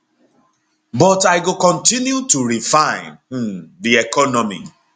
but i go continue to refine um di economy